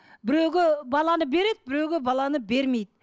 біреуге баланы береді біреуге баланы бермейді